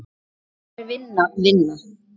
Hvenær er vinna vinna?